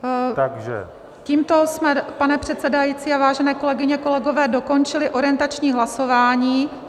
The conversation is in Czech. Tímto jsme, pane předsedající, vážené kolegyně a kolegové, dokončili orientační hlasování.